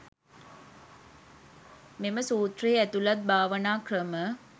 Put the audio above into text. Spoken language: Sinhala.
මෙම සූත්‍රයෙහි ඇතුළත් භාවනා ක්‍රම